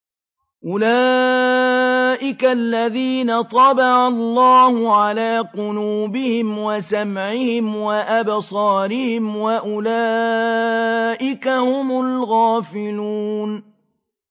أُولَٰئِكَ الَّذِينَ طَبَعَ اللَّهُ عَلَىٰ قُلُوبِهِمْ وَسَمْعِهِمْ وَأَبْصَارِهِمْ ۖ وَأُولَٰئِكَ هُمُ الْغَافِلُونَ